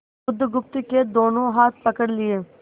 बुधगुप्त के दोनों हाथ पकड़ लिए